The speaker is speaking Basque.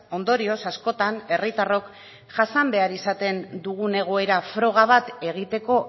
ondorioz askotan herritarrok jasan behar izaten dugun egoera froga bat egiteko